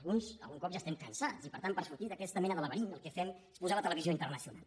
alguns algun cop ja n’estem cansats i per tant per sortir d’aquesta mena de laberint el que fem és posar la televisió internacional